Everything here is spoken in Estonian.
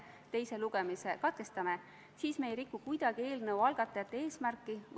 Palun võtta seisukoht ja hääletada!